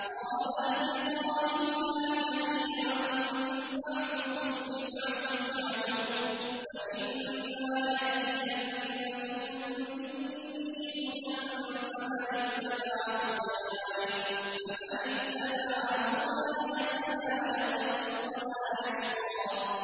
قَالَ اهْبِطَا مِنْهَا جَمِيعًا ۖ بَعْضُكُمْ لِبَعْضٍ عَدُوٌّ ۖ فَإِمَّا يَأْتِيَنَّكُم مِّنِّي هُدًى فَمَنِ اتَّبَعَ هُدَايَ فَلَا يَضِلُّ وَلَا يَشْقَىٰ